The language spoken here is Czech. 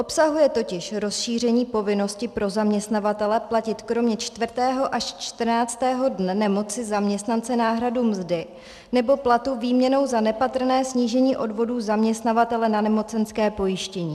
Obsahuje totiž rozšíření povinnosti pro zaměstnavatele platit kromě 4. až 14. dne nemoci zaměstnance náhradu mzdy nebo platu výměnou za nepatrné snížení odvodů zaměstnavatele na nemocenské pojištění.